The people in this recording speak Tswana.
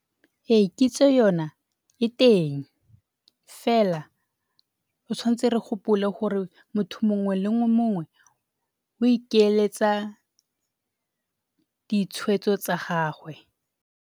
Ee, kitso yona e teng fela re tshwantse re gopole gore motho mongwe le mongwe o ikeletsa ditshwetso tsa gagwe.